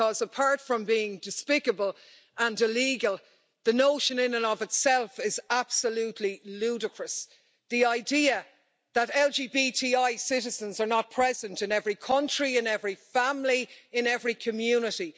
Because apart from being despicable and illegal, the notion in and of itself is absolutely ludicrous the idea that LGBTI citizens are not present in every country, in every family, in every community.